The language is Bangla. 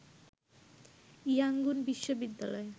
ইয়াংগুন বিশ্ববিদ্যালয়ে